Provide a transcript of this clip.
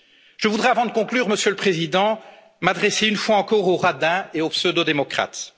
Je voudrais avant de conclure, Monsieur le Président, m'adresser une fois encore aux radins et aux pseudo démocrates.